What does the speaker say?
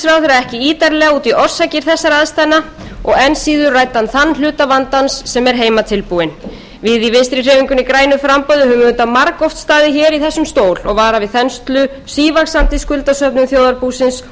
ekki ítarlega út í orsakir þessara aðstæðna og enn síður ræddi hann þann hluta vandans sem er heimatilbúinn við í vinstri hreyfingunni grænu framboði höfum auðvitað margoft staðið í þessum stól og varað við þenslu sívaxandi greiðslusöfnun þjóðarbúsins og bent á